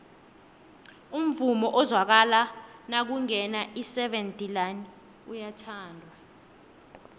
umvumo ozwakala nakungena iseven delaan uyathandwa